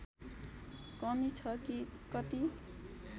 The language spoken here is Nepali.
कमी छ कि कति